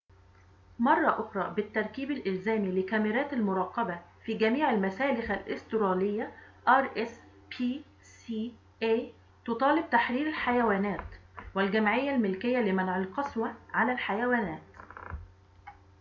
تطالب تحرير الحيوانات والجمعية الملكية لمنع القسوة على الحيوانات rspca مرة أخرى بالتركيب الإلزامي لكاميرات المراقبة في جميع المسالخ الأسترالية